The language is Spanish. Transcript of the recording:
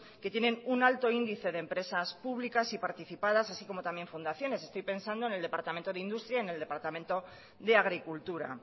que tienen un alto índice de empresas públicas y participadas así como también fundaciones estoy pensando en el departamento de industria y en el departamento de agricultura